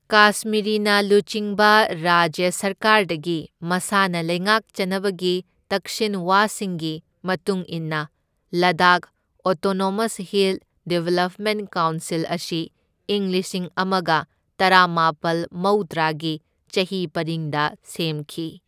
ꯀꯥꯁꯃꯤꯔꯤꯅ ꯂꯨꯆꯤꯡꯕ ꯔꯥꯖ꯭ꯌ ꯁꯔꯀꯥꯔꯗꯒꯤ ꯃꯁꯥꯅ ꯂꯩꯉꯥꯛꯆꯅꯕꯒꯤ ꯇꯛꯁꯤꯟꯋꯥꯁꯤꯡꯒꯤ ꯃꯇꯨꯡ ꯏꯟꯅ Ladakh autonomous hill development council ꯑꯁꯤ ꯢꯪ ꯂꯤꯁꯤꯡ ꯑꯃꯒ ꯇꯔꯥꯃꯥꯄꯜ ꯃꯧꯗ꯭ꯔꯥꯒꯤ ꯆꯍꯤ ꯄꯔꯤꯡꯗ ꯁꯦꯝꯈꯤ꯫